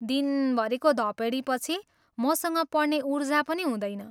दिनभरिको धपेडीपछि मसँग पढ्ने ऊर्जा पनि हुँदैन।